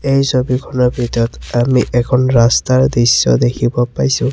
এই ছবিখনৰ ভিতৰত আমি এখন ৰাস্তাৰ দৃশ্য দেখিব পাইছোঁ।